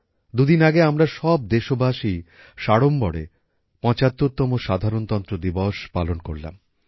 দুদিন আগে আমরা সব দেশবাসী সাড়ম্বরে পঁচাত্তরতম সাধারণতন্ত্র দিবস পালন করলাম